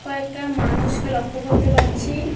কয়েকটা মানুষকে লক্ষ্য করতে পারছি।